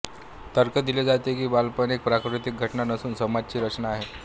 तर्क दिले जाते की बालपण एक प्राकृतिक घटना नसून समाज ची रचना आहे